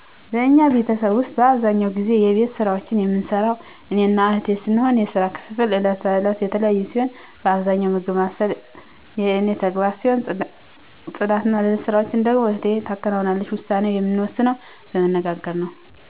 በእኛ ቤተሰብ ውስጥ አብዛኛውን ጊዜ የቤት ስራዎችን የምንሰራው እኔና እህቴ ስንሆን የስራ ክፍፍሉ ዕለት ተዕለት የተለያየ ሲሆን በብዛት ምግብ ማብሰል የእኔ ተግባር ሲሆን ጽዳትና ሌሎች ስራዎችን ደግሞ እህቴ ታከናውናለች፤ ውሳኔውን የምንወስነው በመነጋገር ነው።